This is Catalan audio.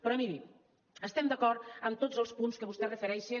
però miri estem d’acord amb tots els punts que vostès refereixen